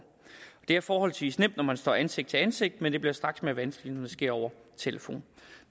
det er forholdsvis nemt når man står ansigt til ansigt men det bliver straks mere vanskeligt når det sker over telefonen